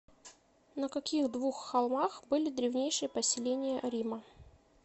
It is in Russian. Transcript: на каких двух холмах были древнейшие поселения рима